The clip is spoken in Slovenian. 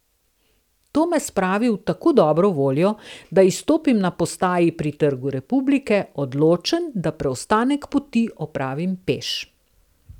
To me spravi v tako dobro voljo, da izstopim na postaji pri trgu Republike, odločen, da preostanek poti opravim peš.